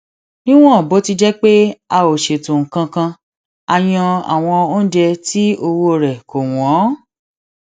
níwòn bó ti jé pé a ò ṣètò nǹkan kan a yan àwọn oúnjẹ tí owó rè kò wón